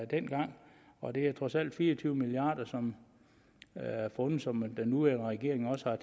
dengang og det er trods alt fire og tyve milliarder som er fundet som den nuværende regering også